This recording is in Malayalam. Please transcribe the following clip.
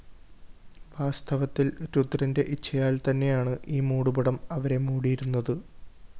വാസ്തവത്തില്‍ രുദ്രന്റെ ഇച്ഛയാല്‍ത്തന്നെയാണ്‌ ഈ മൂടുപടം അവരെ മൂടിയിരുന്നത്‌